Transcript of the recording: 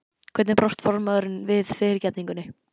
Hvernig brást formaðurinn við fyrirgefningunni?